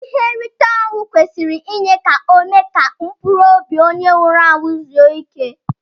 Ihe nrite onwụ kwesiri inye ka ome ka mpụrụ ọbi onye nwuru anwu zuo ike.